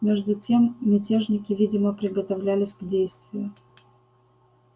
между тем мятежники видимо приготовлялись к действию